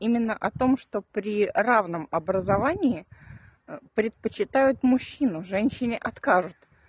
именно о том что при равном образование предпочитают мужчину женщине откажут